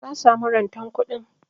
Na samu rantan kuɗin.